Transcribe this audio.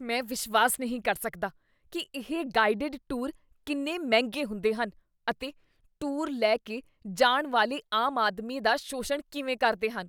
ਮੈਂ ਵਿਸ਼ਵਾਸ ਨਹੀਂ ਕਰ ਸਕਦਾ ਕੀ ਇਹ ਗਾਈਡਡ ਟੂਰ ਕਿੰਨੇ ਮਹਿੰਗੇ ਹੁੰਦੇ ਹਨ ਅਤੇ ਟੂਰ ਲੈਕੇ ਜਾਣ ਵਾਲੇ ਆਮ ਆਦਮੀ ਦਾ ਸ਼ੋਸ਼ਣ ਕਿਵੇਂ ਕਰਦੇ ਹਨ।